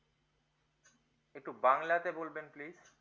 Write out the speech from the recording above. একটু বাংলাতে বলবেন please